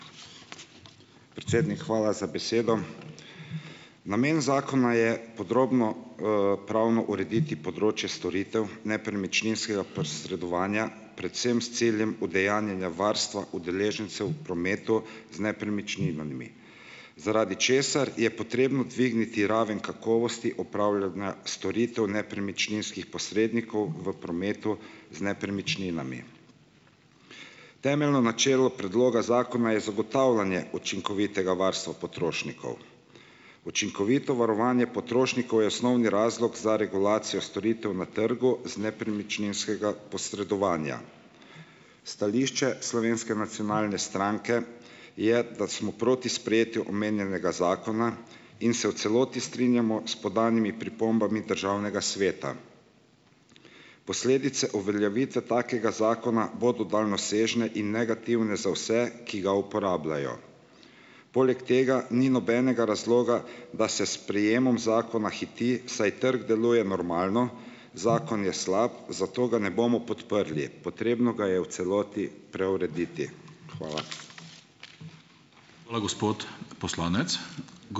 Predsednik, hvala za besedo. Namen zakona je podrobno, pravno urediti področje storitev nepremičninskega posredovanja predvsem s ciljem udejanjanja varstva udeležencev v prometu z nepremičninami, zaradi česar je potrebno dvigniti raven kakovosti opravljanja storitev nepremičninskih posrednikov v prometu z nepremičninami. Temeljno načelo predloga zakona je zagotavljanje učinkovitega varstva potrošnikov. Učinkovito varovanje potrošnikov je osnovni razlog za regulacijo storitev na trgu z nepremičninskega posredovanja. Stališče Slovenske nacionalne stranke je, da smo proti sprejetju omenjenega zakona in se v celoti strinjamo s podanimi pripombami Državnega sveta. Posledice uveljavitve takega zakona bodo daljnosežne in negativne za vse, ki ga uporabljajo. Poleg tega ni nobenega razloga, da se s sprejemom zakona hiti, saj trg deluje normalno, zakon je slab, zato ga ne bomo podprli. Potrebno ga je v celoti preurediti. Hvala.